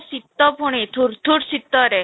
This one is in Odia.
ଶୀତ ପୁଣି ଥୁର ଥୁର ଶୀତରେ